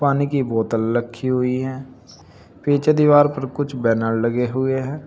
पानी की बोतल रखी हुई है पीछे दीवार पर कुछ बैनर लगे हुए हैं।